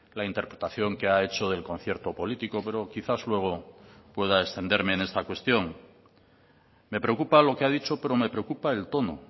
la interpretación que ha hecho del concierto político pero quizás luego pueda extenderme en esta cuestión me preocupa lo que ha dicho pero me preocupa el tono